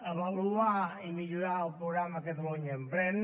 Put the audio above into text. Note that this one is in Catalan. avaluar i millorar el programa catalunya emprèn